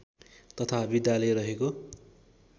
तथा विद्यालय रहेको